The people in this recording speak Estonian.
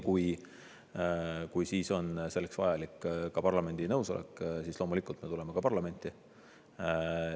Kui siis on selleks vajalik ka parlamendi nõusolek, siis loomulikult me tuleme ka parlamenti.